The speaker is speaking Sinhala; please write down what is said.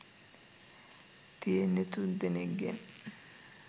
තියෙන්නේ තුන්දෙනෙක්ගෙන්.